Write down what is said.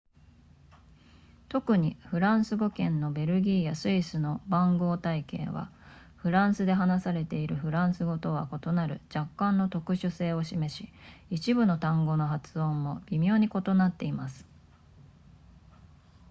特にフランス語圏のベルギーやスイスの番号体系はフランスで話されているフランス語とは異なる若干の特殊性を示し一部の単語の発音も微妙に異なっています